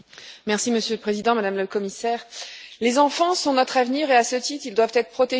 Monsieur le Président, Madame le Commissaire, les enfants sont notre avenir et, à ce titre, doivent être protégés.